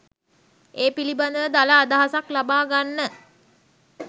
ඒ පිළිබඳව දළ අදහසක් ලබා ගන්න